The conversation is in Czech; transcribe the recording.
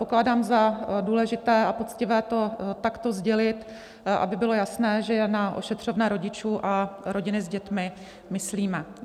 Pokládám za důležité a poctivé to takto sdělit, aby bylo jasné, že na ošetřovné rodičů a rodiny s dětmi myslíme.